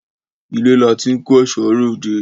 Ilé làti n ko eṣo re odé